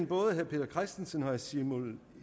både herre peter christensens og herre simon